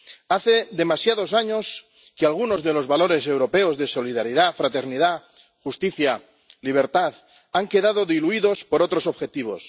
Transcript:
Hace demasiados años que algunos de los valores europeos de solidaridad, fraternidad justicia, libertad han quedado diluidos por otros objetivos